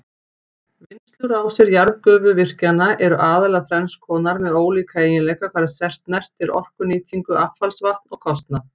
Vinnslurásir jarðgufuvirkjana eru aðallega þrenns konar með ólíka eiginleika hvað snertir orkunýtingu, affallsvatn og kostnað.